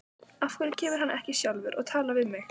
Af hverju kemur hann ekki sjálfur og talar við mig?